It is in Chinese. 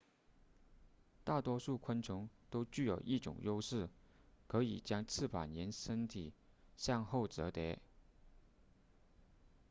大多数昆虫都具有一种优势可以将翅膀沿身体向后折叠